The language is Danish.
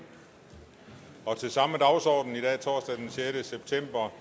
til samme dagsorden i dag torsdag den sjette september